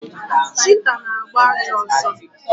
Chita na-agba ajọ ọsọ.